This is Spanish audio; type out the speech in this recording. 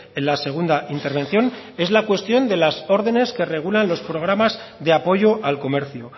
en la segunda intervención es la cuestión de las órdenes que regulan los programas de apoyo al comercio